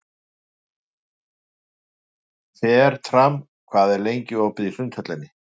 Fertram, hvað er lengi opið í Sundhöllinni?